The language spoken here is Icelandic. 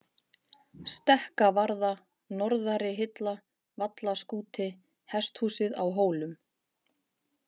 Stekkavarða, Norðarihilla, Vallaskúti, Hesthúsið á Hólum